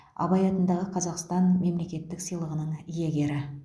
абай атындағы қазақстан мемлекеттік сыйлығының иегері